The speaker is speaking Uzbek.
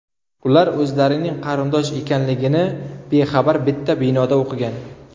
Ular o‘zlarining qarindosh ekanligini bexabar bitta binoda o‘qigan.